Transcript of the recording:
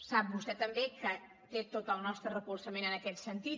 sap vostè també que té tot el nostre recolzament en aquest sentit